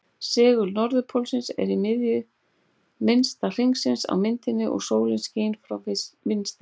Segul-norðurpóllinn er í miðju minnsta hringsins á myndinni og sólin skín frá vinstri.